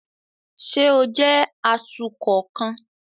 Ṣe o jẹ atukọ kan?